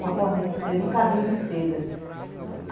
uma corda de seda, um cabinho de seda.